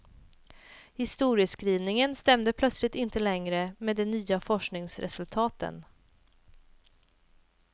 Historieskrivningen stämde plötsligt inte längre med de nya forskningsresultaten.